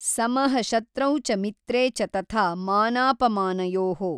ಸಮಃ ಶತ್ರೌ ಚ ಮಿತ್ರೇ ಚ ತಥಾ ಮಾನಾಪಮಾನಯೋಃ।